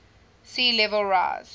sea level rise